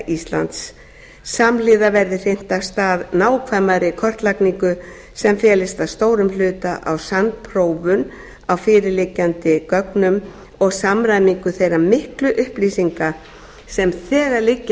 íslands samhliða verði hrint af stað nákvæmari kortlagningu sem felist að stórum hluta á sannprófun á fyrirliggjandi gögnum og samræmingu þeirra miklu upplýsinga sem þegar liggja